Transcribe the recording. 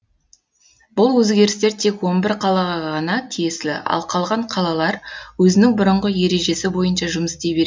бұл өзгерістер тек он бір қалаға ғана тиесілі ал қалған қалалар өзінің бұрынғы ережесі бойынша жұмыс істей береді